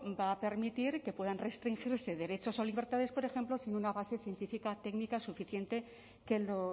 va a permitir que puedan restringirse derechos o libertades por ejemplo sin una base científica técnica suficiente que lo